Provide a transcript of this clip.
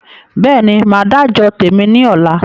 Bẹ́ẹ̀ni, Máa dà jọ tèmi ni ọ̀la